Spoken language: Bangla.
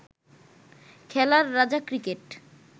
খেলার রাজা ক্রিকেট